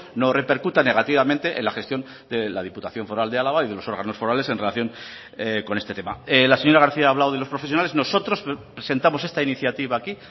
no repercuta negativamente en la gestión de la diputación foral de álava y de los órganos forales en relación con este tema la señora garcía ha hablado de los profesionales nosotros presentamos esta iniciativa aquí